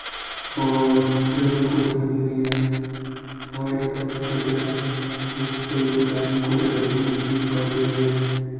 और टेबल कुर्सिया लगी हुई है व्हाइट कलर की टेबले हैं ऊपर उधर साइड में कुछ डब्बू भी दिखाई दे रहे हैं।